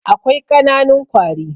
Akwai ƙananun kwari.